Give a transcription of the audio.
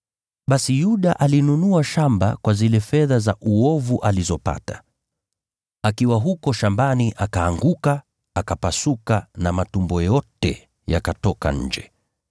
(Basi Yuda alinunua shamba kwa zile fedha za uovu alizopata; akiwa huko shambani akaanguka, akapasuka na matumbo yote yakatoka nje.